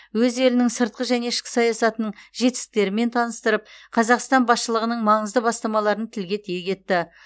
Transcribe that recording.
өз елінің сыртқы және ішкі саясатының жетістіктерімен таныстырып қазақстан басшылығының маңызды бастамаларын тілге тиек етті